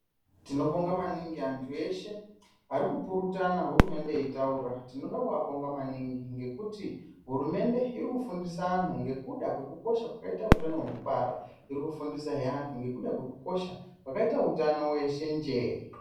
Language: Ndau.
Tinotenda maningi antu eshe arikupurutana hurumende yeitaura timoda kuabonga maningi ngekuti hurumende irikufundisa anhu nekuda kwekusho kwakaita utano utano hwekubara , irikufundisa zve antu nekuda kwekosha kwakaita utano hweshenjee.